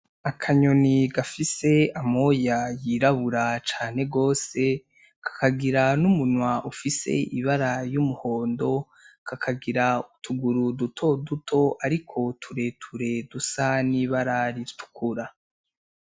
Akanyoni gafise amoya yirabura cane gwose kakagira n'umunwa ufise ibara y'umuhondo kakagira utuguru duto duto, ariko tureture dusa nibararitukura.